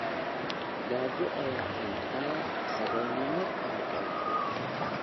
Gaajo ayaa keenta saboolnimo korodhay.